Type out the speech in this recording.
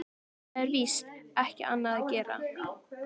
Það er víst ekki annað að gera.